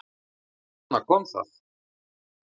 Þarna kom það!